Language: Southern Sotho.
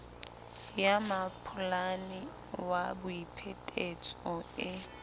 ya mmampholane ya boiphetetso e